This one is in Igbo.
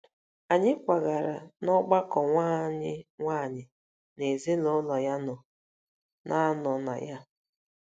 Anyị kwagara n’ọgbakọ nwa anyị nwanyị na ezinụlọ ya nọ na nọ na ya.